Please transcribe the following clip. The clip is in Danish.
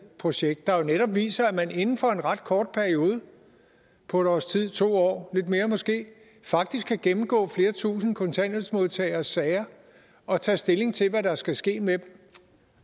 projekt der netop viser at man inden for en ret kort periode på et års tid eller to år lidt mere måske faktisk kan gennemgå flere tusind kontanthjælpsmodtageres sager og tage stilling til hvad der skal ske med